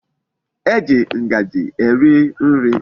E ji Ngaji eri nri